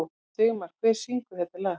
Sigmar, hver syngur þetta lag?